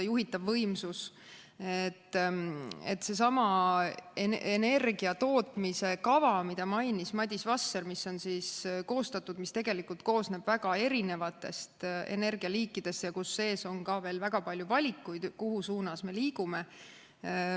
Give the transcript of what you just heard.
Seesama energia tootmise kava, mida mainis Madis Vasser, koosneb tegelikult väga erinevatest energialiikidest ja seal sees on veel väga palju valikuid, kuhu suunas liikuda.